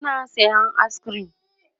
suna sayan ayis kirim